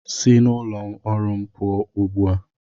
Si n'ụlọ ọrụ m pụọ ugbu a!